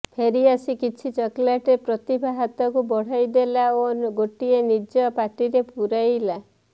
ଫେରି ଆସି କିଛି ଚକୋଲେଟ୍ ପ୍ରତିଭା ହାତକୁ ବଢାଇ ଦେଲା ଓ ଗୋଟିଏ ନିଯ ପାଟିରେ ପୁରେଇଲା